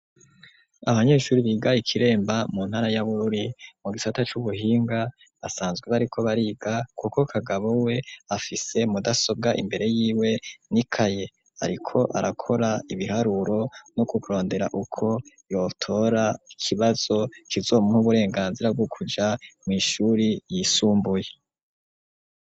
Abanyeshuri biga i Kiremba mu ntara ya Bururi mu gisata c'ubuhinga basanzwe bariko bariga, kuko Kagabo we afise mudasobwa imbere yiwe n'ikaye, ariko arakora ibiharuro no kurondera uko yotora ikibazo kizomuha uburenganzira bwo kuja mw'ishuri ryisumbuye.